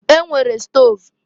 E nwere stov.